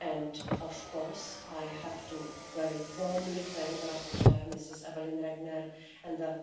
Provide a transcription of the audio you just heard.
And, of course, I have to very warmly thank the rapporteur, Ms Evelyn Regner, and the